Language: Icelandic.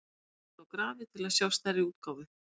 Smellið á grafið til að sjá stærri útgáfu.